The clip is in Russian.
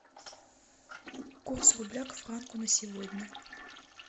курс рубля к франку на сегодня